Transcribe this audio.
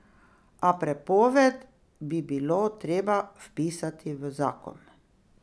A prepoved bi bilo treba vpisati v zakon.